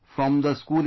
From the school itself